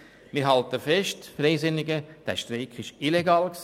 Wir Freisinnigen halten fest: Der Streik war illegal.